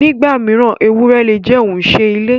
Nígbà mí, èwùré le jẹ̀ ọ̀unṣẹ ilẹ̀.